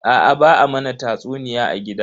Aa ba a mana tatsuniya a gida.